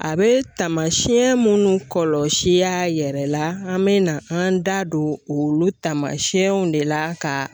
A bɛ taamasiyɛn minnu kɔlɔlɔ siyaa yɛrɛ la an bɛ na an da don olu taama siyɛnw de la ka